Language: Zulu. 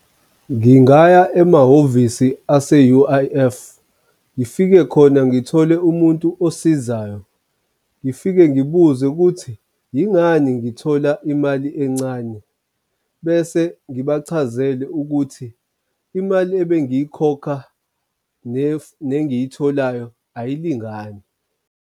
Ngingaya emahhovisi ase-U_I_F ngifike khona ngithole umuntu osizayo, ngifike ngibuze ukuthi yingani ngithola imali encane. Bese ngibachazele ukuthi imali ebengiyikhokha nengiyitholayo ayilingani.